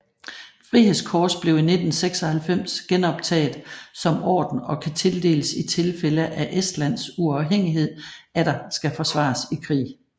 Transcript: Frihedskors blev i 1996 genoptaget som orden og kan tildeles i tilfælde af Estlands uafhængighed atter skal forsvares i krig